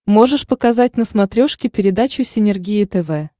можешь показать на смотрешке передачу синергия тв